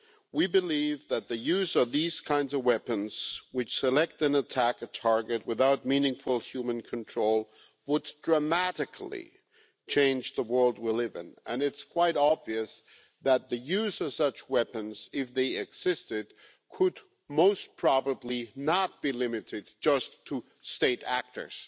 We believe that the use of these kinds of weapons, which select and attack a target without meaningful human control, would dramatically change the world we live in, and it is quite obvious that the use of such weapons, if they existed, could most probably not be limited just to state actors.